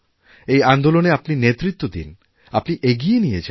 এই আন্দোলনে আপনি নেতৃত্ব দিন আপনি এগিয়ে নিয়ে যান